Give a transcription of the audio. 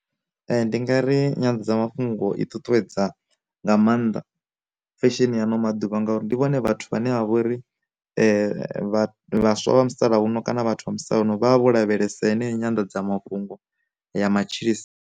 Ndi nga ri nyanḓadzamafhungo i ṱuṱuwedza nga maanḓa fesheni ano maḓuvha ngauri, ndi vhone vhathu vhane vha vha uri vhaswa vha musalauno kana vhathu musalauno vhavha vho lavhelesa heneyo nyanḓadzamafhungo ya matshilisa.